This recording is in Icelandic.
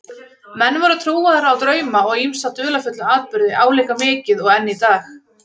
Menn voru trúaðir á drauma og ýmsa dularfulla atburði álíka mikið og enn í dag.